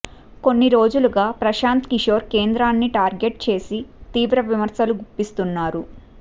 కొన్ని రోజులుగా ప్రశాంత్ కిశోర్ కేంద్రాన్ని టార్గెట్ చేసి తీవ్ర విమర్శలు గుప్పిస్తున్నారు